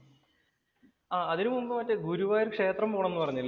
ആഹ് അതിനുമുമ്പ് മറ്റേ ഗുരുവായൂർ ക്ഷേത്രം പോണം എന്ന് പറഞ്ഞില്ലേ?